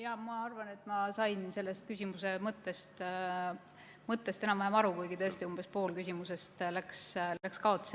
Jaa, ma arvan, et sain küsimuse mõttest enam-vähem aru, kuigi tõesti umbes pool küsimusest läks kaotsi.